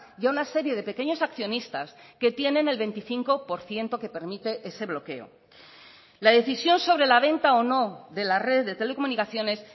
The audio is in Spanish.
y a una serie de pequeños accionistas que tienen el veinticinco por ciento que permite ese bloqueo la decisión sobre la venta o no de la red de telecomunicaciones